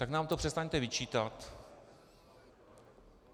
Tak nám to přestaňte vyčítat.